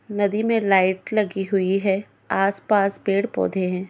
नदी में लाइट लगी हुई है आस-पास पेड़ पौधे हैं।